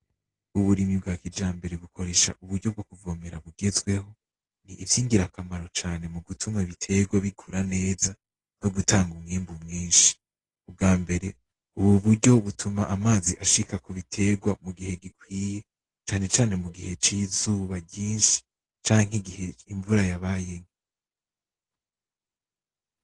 Uburimyi bwa kijambere bukoresha uburyo bwo kuvomera bugezweho. Ni ivyingira akamaro cane mugutuma ibiterwa bikura neza, nogutanga umwimbu mwinshi. Ubwa mbere ubwo buryo butuma amazi ashika kubiterwa mugihe gikwiye, cane cane mugihe c'izuba ryinshi canke igihe imvura yabaye nke.